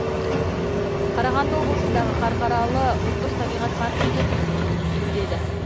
қарағанды облысындағы қарқаралы ұлттық табиғат паркінде бизон төлдеді